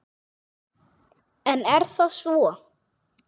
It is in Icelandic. En er það svo?